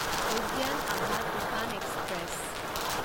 উদ্যান আভা তুফান এক্সপ্ৰেছ